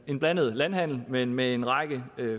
en blandet landhandel men med en række